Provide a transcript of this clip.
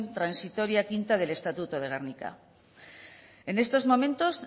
transitoria quinta del estatuto de gernika en estos momentos